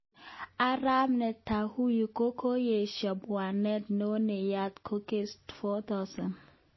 Arap Netanuyu kokoyesho kabwatet non nenayat ko Case 4000.